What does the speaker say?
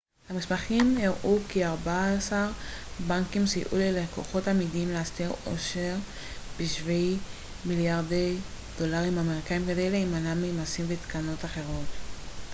המסמכים הראו כי ארבעה-עשר בנקים סייעו ללקוחות אמידים להסתיר עושר בשווי מליארדי דולרים אמריקאים כדי להימנע ממסים ותקנות אחרות